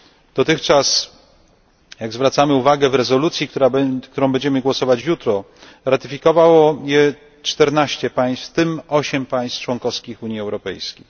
Dotychczas, jak zwracamy uwagę w rezolucji, nad którą będziemy głosować jutro, ratyfikowało je 14 państw, w tym 8 państw członkowskich Unii Europejskiej.